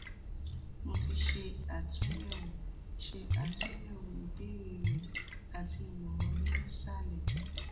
mo ti ṣe atunyẹwo ṣe atunyẹwo ibeere rẹ ati imọran mi ni isalẹ